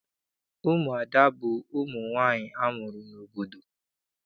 Ụmụada bụ ụmụ nwaanyị amụrụ n'obodo.